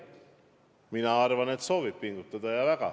Mina arvan, et ta soovib pingutada, ja väga.